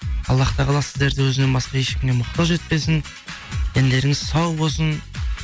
аллах тағала сіздерді өзінен басқа ешкімге мұқтаж етпесін дендеріңіз сау болсын